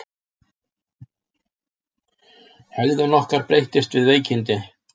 Hegðun okkar breytist við veikindi.